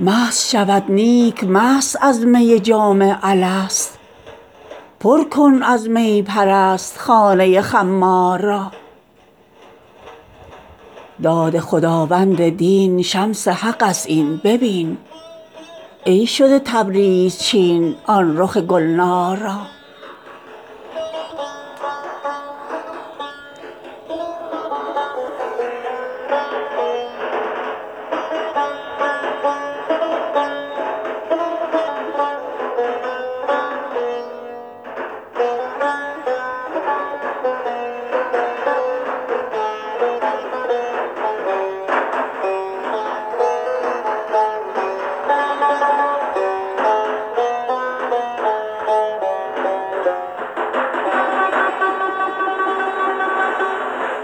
مست شود نیک مست از می جام الست پر کن از می پرست خانه خمار را داد خداوند دین شمس حق ست این ببین ای شده تبریز چین آن رخ گلنار را